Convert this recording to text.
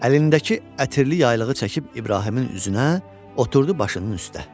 Əlindəki ətirli yaylığı çəkib İbrahimin üzünə, oturdu başının üstə.